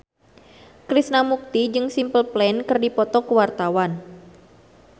Krishna Mukti jeung Simple Plan keur dipoto ku wartawan